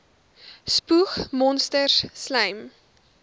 spoeg monsters slym